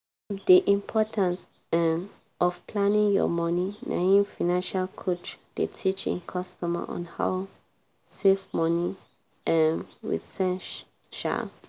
di importance um of planning your money na im financial coach dey teach im customer on how save money um with sense. um